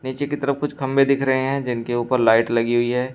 नीचे की तरफ कुछ खंबे दिख रहे हैं जिनके ऊपर लाइट लगी हुई है।